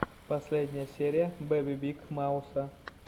последняя серия бэби биг мауса